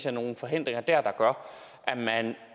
er nogen forhindringer der gør